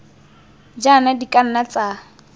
jaana di ka nna tsa